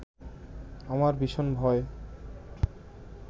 আমার ভীষণ ভয়